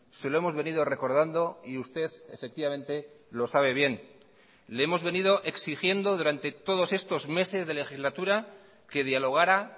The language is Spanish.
se lo hemos venido recordando y usted efectivamente lo sabe bien le hemos venido exigiendo durante todos estos meses de legislatura que dialogara